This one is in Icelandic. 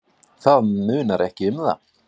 Það munar ekki um það.